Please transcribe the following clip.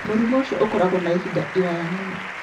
Mũrimũ ũcio ũkoragwo na ihinda iraya mũno